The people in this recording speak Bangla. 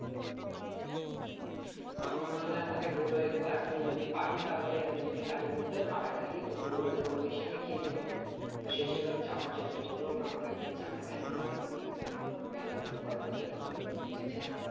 তখন না হলে আমাকে বলো একবার আমি যদি পারি তাহলে আমি যদি কাজের মধ্যেও ফাঁকা থাকি তো football টা কম বেশি আমি খেলি ভালো তো সেই হিসেবে আমি যাওয়ার চেষ্টা করবো এবং আমাকে একবার জানাবে আমি তাহলে তোমাকে বলে দেব গেলে বলবো না গেলে বলে দেব ঠিক আছে?